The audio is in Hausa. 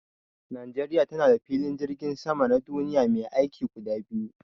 Najeriya tana da filin jirgin sama na duniya mai aiki guda biyar.